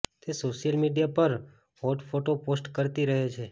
તે social media પર hot photo post કરતી રહે છે